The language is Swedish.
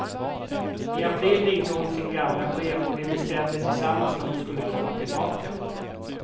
I april ringde hon sin gamla chef och de bestämde tillsammans när hon skulle komma tillbaka.